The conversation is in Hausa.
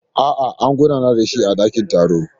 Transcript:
A'a, an gudanar da shi a dakin taro.